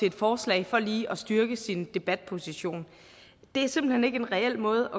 et forslag for lige at styrke sin debatposition det er simpelt hen ikke en reel måde